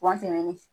Wa tɛmɛnen